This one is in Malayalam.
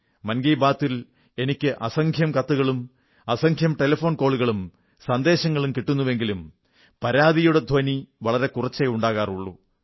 മൻ കീ ബാത്തി ൽ എനിക്ക് അസംഖ്യം കത്തുകളും അസംഖ്യം ടെലിഫോൺ കോളുകളും സന്ദേശങ്ങളും കിട്ടുന്നുവെങ്കിലും പരാതിയുടെ ധ്വനി വളരെ കുറച്ചേ ഉണ്ടാകാറുള്ളൂ